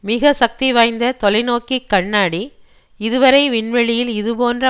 மிக சக்தி வாய்ந்த தொலைநோக்கிக் கண்ணாடி இதுவரை விண்வெளியில் இதுபோன்று